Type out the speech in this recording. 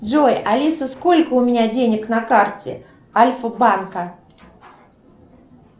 джой алиса сколько у меня денег на карте альфа банка